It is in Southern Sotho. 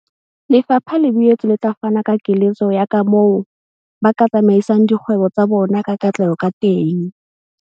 Lefapha le boetse le tla fana ka keletso ya kamoo ba ka tsamaisang dikgwebo tsa bona ka katleho ka teng.